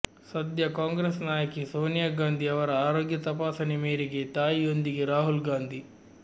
ಸದ್ಯ ಕಾಂಗ್ರೆಸ್ ನಾಯಕಿ ಸೋನಿಯಾ ಗಾಂಧಿ ಅವರ ಆರೋಗ್ಯ ತಪಾಸಣೆ ಮೇರೆಗೆ ತಾಯಿಯೊಂದಿಗೆ ರಾಹುಲ್ ಗಾಂಧಿ